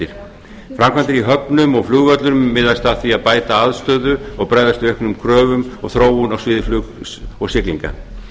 framkvæmdir í höfnum og flugvöllum miðast að því að bæta aðstöðu og bregðast við auknum kröfum og þróun á sviði flugs og siglinga